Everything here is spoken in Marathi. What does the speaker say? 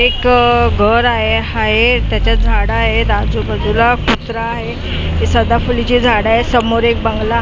एक आह घर आहे हाय त्याच्या झाडं आहेत आजूबाजूला हि सदाफुलीची झाडं आहेत समोर एक बंगला --